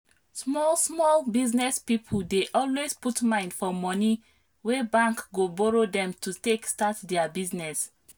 small small business people dey always put mind for money wey bank go borrow dem to take start their business